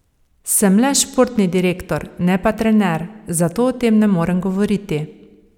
Sem le športni direktor, ne pa trener, zato o tem ne morem govoriti.